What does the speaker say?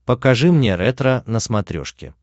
покажи мне ретро на смотрешке